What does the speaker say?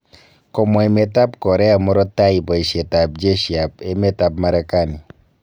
Komwa emet ab Korea murto taai boisiet ab jeshiit ab emet ab Marekani.